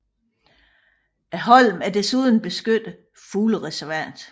Holmen er desuden et beskyttet fuglereservat